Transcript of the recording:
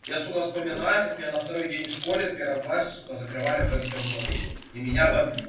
я сука вспоминаю как меня на второй день в школе в первом классе сука закрывали в женском туалете и меня бомбит